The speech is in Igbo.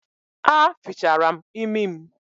A fichara m imi m